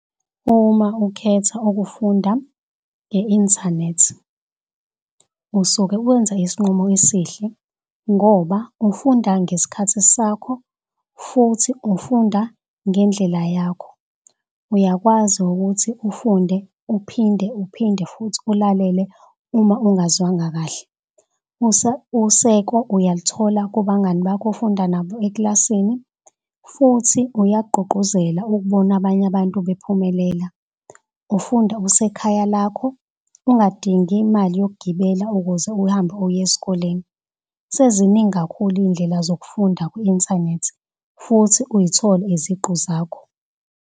Uma ukhetha ukufunda nge-inthanethi usuke wenza isinqumo esihle ngoba ufunda ngeskhathi sakho futhi ufunda ngendlela yakho. Uyakwazi ukuthi ufunde uphinde uphinde futhi ulalele uma ungazwanga kahle. Useko uyaluthola kubangani bakho ofunda nabo eklasini futhi uyagqugquzela ukubona abanye abantu bephumelela. Ufunda usekhaya lakho ungadingi imali yok'gibela ukuze uhambe uye eskoleni. Seziningi kakhulu iy'ndlela zokufunda ku-inthanethi futhi uy'thole iziqu zakho.